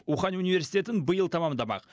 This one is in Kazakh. ухань университетін биыл тәмамдамақ